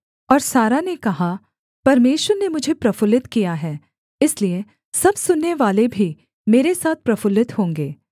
और सारा ने कहा परमेश्वर ने मुझे प्रफुल्लित किया है इसलिए सब सुननेवाले भी मेरे साथ प्रफुल्लित होंगे